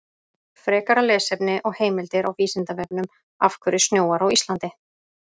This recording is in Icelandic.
Frekara lesefni og heimildir á Vísindavefnum: Af hverju snjóar á Íslandi?